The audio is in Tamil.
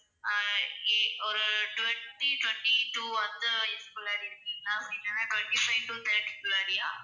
ஆஹ் ஏ ஒரு twenty twenty two அந்த age குள்ள இருக்கீங்களா? இல்லைனா twenty five to thirty குள்ளறயா?